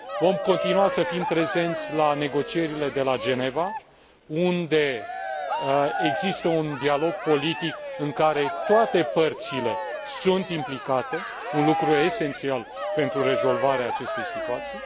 Vom continua să fim prezenți la negocierile de la Geneva, unde există un dialog politic în care toate părțile sunt implicate, un lucru esențial pentru rezolvarea acestei situații